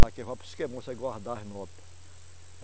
Daqui vai para o esquema, você guardar as nota